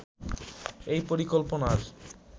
এই পরিকল্পনার